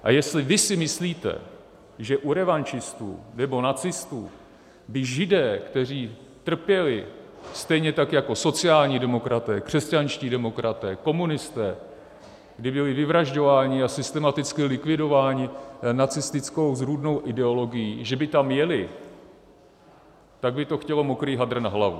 A jestli vy si myslíte, že u revanšistů nebo nacistů by Židé, kteří trpěli, stejně tak jako sociální demokraté, křesťanští demokraté, komunisté, kdy byli vyvražďováni a systematicky likvidováni nacistickou zrůdnou ideologií, že by tam jeli, tak by to chtělo mokrý hadr na hlavu.